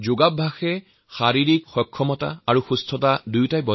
যোগে সুস্থ আৰু সক্ষম দুয়োটাই হোৱাৰ প্ৰতিশ্ৰুতি দিয়ে